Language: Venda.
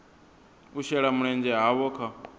u shela mulenzhe havho kha